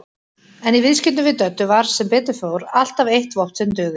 En í viðskiptum við Döddu var sem betur fór alltaf eitt vopn sem dugði.